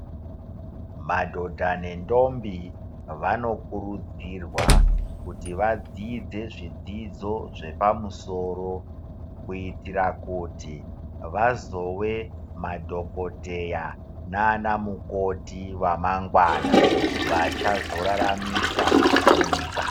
Madhodha nendombi ,vanokurudzirwa kuti vadzidze zvidzidzo zvepamusoro, kuitira kuti vazove madhokodheya naanamukoti vamangwana, vachazoraramisa nyika.